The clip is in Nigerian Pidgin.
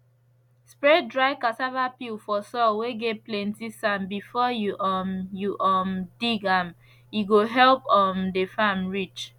spread dry cassava peel for soil whey get plenty sand before you um you um dig am he go help um the farm rich